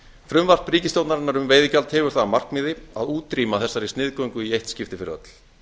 frumvarp ríkisstjórnarinnar um veiðigjald hefur það að markmiði að útrýma þessari sniðgöngu í eitt skipti fyrir öll